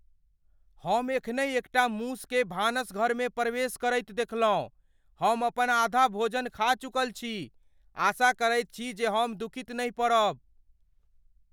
हम एखनहि एकटा मूसकेँ भानसघरमे प्रवेश करैत देखलहुँ। हम अपन आधा भोजन खा चुकल छी। आशा करैत छी जे हम दुखित नहि पड़ब ।